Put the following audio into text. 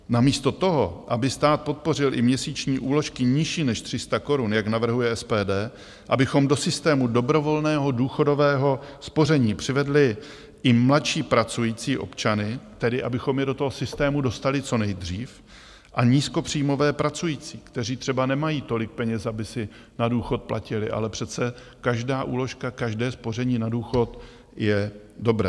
Namísto toho, aby stát podpořil i měsíční úložky nižší než 300 korun, jak navrhuje SPD, abychom do systému dobrovolného důchodového spoření přivedli i mladší pracující občany - tedy abychom je do toho systému dostali co nejdřív - a nízkopříjmové pracující, kteří třeba nemají tolik peněz, aby si na důchod platili - ale přece každá úložka, každé spoření na důchod, je dobré...